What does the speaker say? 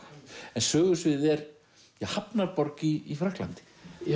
en sögusviðið er hafnarborg í Frakklandi